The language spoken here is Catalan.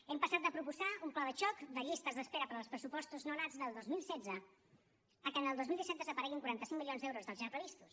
hem passat de proposar un pla de xoc de llistes d’espera per als pressupostos nonats del dos mil setze a que en el dos mil disset desapareguin quaranta cinc milions d’euros dels ja previstos